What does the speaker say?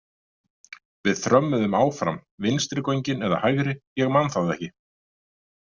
Við þrömmuðum áfram, vinstri göngin eða hægri, ég man það ekki.